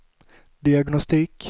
diagnostik